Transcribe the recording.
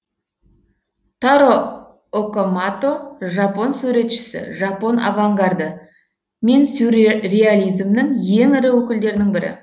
таро окамото жапон суретшісі жапон авангарды мен сюрреализмнің ең ірі өкілдерінің бірі